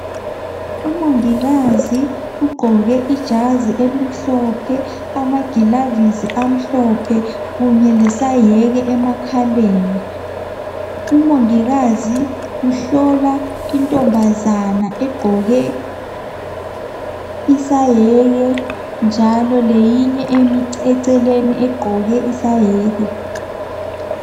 Umongikazi ugqoke ijazi elimhlophe amagilavisi amhlophe kunye lesayeke emakhaleni umongikazi uhlola intombazana ogqoke isayeke njalo leyinye emi eceleni egqoke isayeke.